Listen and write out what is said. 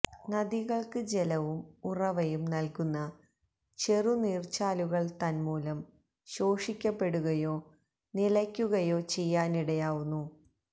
നദികള്ക്ക് ജലവും ഉറവയും നല്കുന്ന ചെറുനീര്ച്ചാലുകള് തന്മൂലം ശോഷിക്കപ്പെടുകയോ നിലയ്ക്കുകയോ ചെയ്യാനിടയാവുന്നു